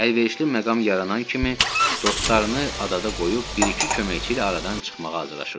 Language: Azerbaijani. Əlverişli məqam yaranan kimi dostlarını adada qoyub, bir-iki köməkçi ilə aradan çıxmağa hazırlaşırdı.